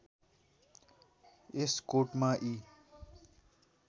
यस कोटमा यी